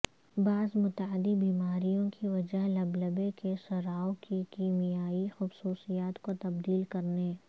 بعض متعدی بیماریوں کی وجہ لبلبے کے سراو کی کیمیائی خصوصیات کو تبدیل کرنے